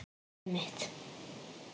Gullið mitt!